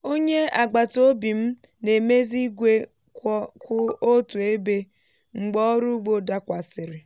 onye agbataobi m na-emezi igwe kwụ otu ebe mgbe ọrụ ugbo dakwasịrị.